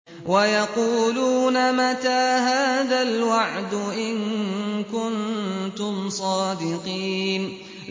وَيَقُولُونَ مَتَىٰ هَٰذَا الْوَعْدُ إِن كُنتُمْ صَادِقِينَ